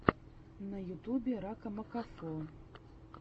на ютубе ракамакафо